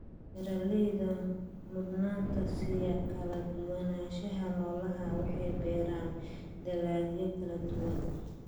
Beeraleyda mudnaanta siiya kala duwanaanshaha noolaha waxay beeraan dalagyo kala duwan.